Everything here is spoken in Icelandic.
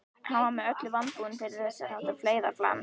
Hann var með öllu vanbúinn fyrir þess háttar feigðarflan.